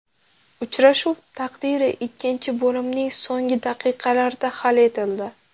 Uchrashuv taqdiri ikkinchi bo‘limning so‘nggi daqiqalarida hal etildi.